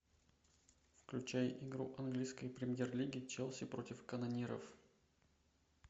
включай игру английской премьер лиги челси против канониров